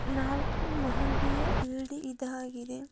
ನಾಲ್ಕು ಮಹಡಿಯ ಬಿಲ್ಡಿಂಗ್ ಇದಾಗಿದೆ .